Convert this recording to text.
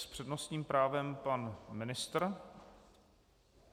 S přednostním právem pan ministr.